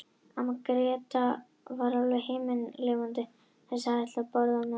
Amma Gréta er alveg himinlifandi yfir þessu og ætlar að borða með okkur líka.